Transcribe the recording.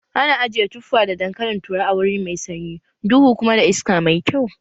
Ana ajiye tuffa da dankalin turawa a wuri mai sanyi, duhu kuma da iska mai kyau